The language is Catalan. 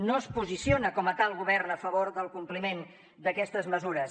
no es posiciona com a tal govern a favor del compliment d’aquestes mesures